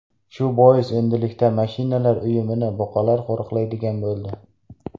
Shu bois endilikda mashinalar uyumini buqalar qo‘riqlaydigan bo‘ldi.